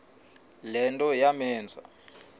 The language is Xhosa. le nto yamenza